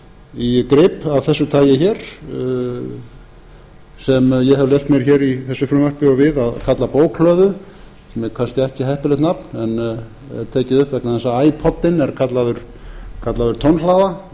í grip af þessu tagi hér sem ég hef leyft mér hér í þessu frumvarpi og við að kalla bókhlöðu sem er kannski ekki heppilegt nafn en er tekið upp vegna þess að æpoddinn er kallaður bókhlaða eða það